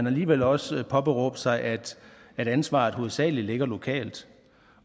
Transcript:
alligevel også påberåbe sig at ansvaret hovedsagelig ligger lokalt